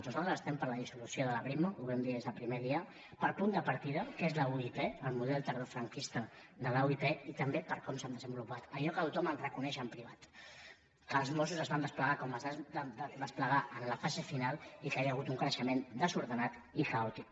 nosaltres estem per la dissolució de la brimo ho vam dir des del primer dia pel punt de partida que és la uip el model tardofranquista de la uip i també per com s’han desenvolupat allò que tothom et reconeix en privat que els mossos es van desplegar com es van desplegar en la fase final i que hi ha hagut un creixement desordenat i caòtic